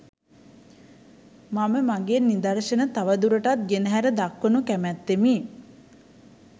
මම මගේ නිදර්ශන තවදුරටත් ගෙනහැර දක්වනු කැමැත්තෙමි